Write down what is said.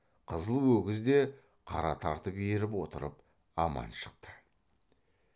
қызыл өгіз де қара тартып еріп отырып аман шықты